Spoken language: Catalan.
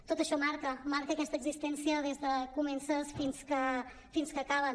tot això marca marca aquesta existència des que comencen fins que acaben